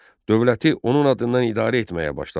Dövləti onun adından idarə etməyə başladı.